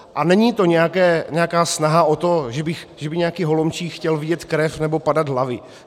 A není to nějaká snaha o to, že by nějaký Holomčík chtěl vidět krev nebo padat hlavy.